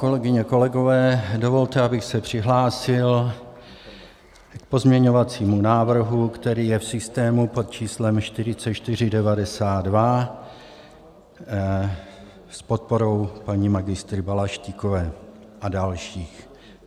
Kolegyně, kolegové, dovolte, abych se přihlásil k pozměňovacímu návrhu, který je v systému pod číslem 4492 s podporou paní magistry Balaštíkové a dalších.